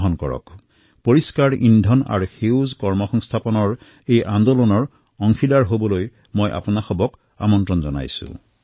মই আপোনালোকক clean energy and green jobs ৰ এই আন্দোলনৰ সমভাগী হবলৈ আমন্ত্ৰিত কৰিছোঁ